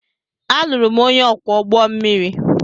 Alụrụ m onye ọkwọ ụgbọ mmiri.